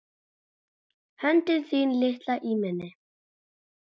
Höndin þín litla í minni.